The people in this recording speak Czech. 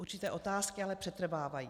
Určité otázky ale přetrvávají.